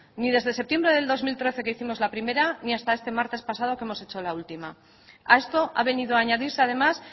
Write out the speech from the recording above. ni desde septiembre de dos mil trece que hicimos la primera ni hasta este martes pasado que hemos hecho la última a esto ha venido a añadirse además